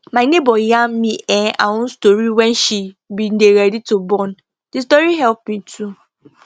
my neighbor yarn me um her own story wen she bin dey ready to born ndi story help me too